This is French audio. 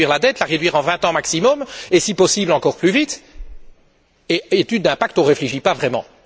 Il faut réduire la dette en vingt ans maximum et, si possible, encore plus vite, pas d'étude d'impact, on ne réfléchit pas vraiment.